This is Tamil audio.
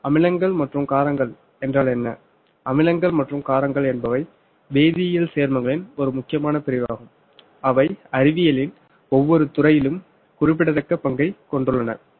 அமிலங்கள் மற்றும் காரங்கள் என்றால் என்ன அமிலங்கள் மற்றும் காரங்கள் என்பவை வேதியியல் சேர்மங்களின் ஒரு முக்கியமான பிரிவு ஆகும் அவை அறிவியலில் ஒவ்வொரு துறையிலும் குறிப்பிடத்தக்க பங்கை கொண்டுள்ளனர்